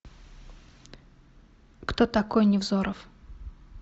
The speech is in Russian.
кто такой невзоров